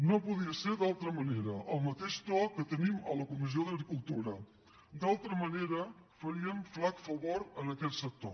no podia ser d’altra manera el mateix to que tenim a la comissió d’agricultura d’altra manera faríem flac favor a aquest sector